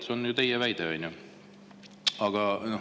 See on teie väide, on ju?